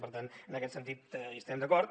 per tant en aquest sentit hi estem d’acord